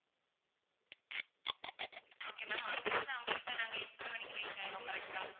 okay ma'am அங்கேயிருந்து America நாங்க எத்தனை மணிக்கு reach ஆயிடுவோம் correct ஆ